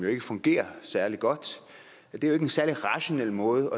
ikke fungerer særlig godt det er ikke en særlig rationel måde